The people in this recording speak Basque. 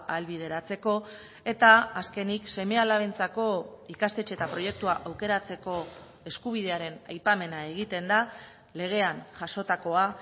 ahalbideratzeko eta azkenik seme alabentzako ikastetxe eta proiektua aukeratzeko eskubidearen aipamena egiten da legean jasotakoa